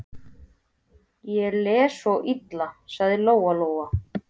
Ég les svo illa, sagði Lóa-Lóa.